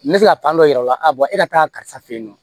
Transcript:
N bɛ se ka dɔ yir'a la e ka taa karisa fɛ yen nɔ